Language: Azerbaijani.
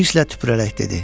Hirsle tüpürərək dedi: